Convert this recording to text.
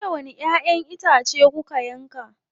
Jiya wani ƴaʼƴen itace kuka yanka.